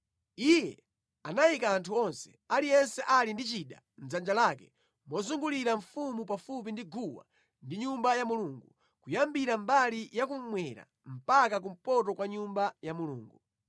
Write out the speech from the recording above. Iye anayika anthu onse, aliyense ali ndi chida mʼdzanja lake mozungulira mfumu pafupi ndi guwa ndi Nyumba ya Mulungu, kuyambira mbali ya kummwera mpaka kumpoto kwa Nyumba ya Mulungu.